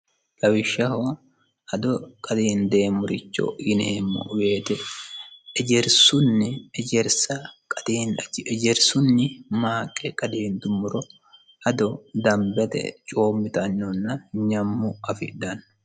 lawishshaho ado qadiindeemmuricho yineemmo weete ejersunni ejersa ejerissunni maaqe qadiidummuro ado dambete coommitanyonna nyammu afidhanno